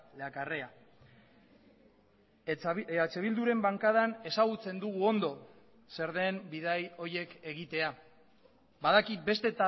le acarrea eh bilduren bankadan ezagutzen dugu ondo zer den bidai horiek egitea badakit beste